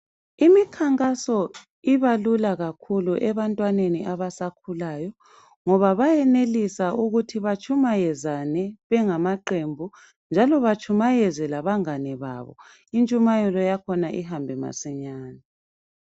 Imikhankaso ibalula kakhulu ebantwaneni abasakhulayo ngoba bayenelisa ukuthi batshumayezane bengamaqembu njalo batshumayeze labangani babo intshumayelo yakhona ihambe masinyane.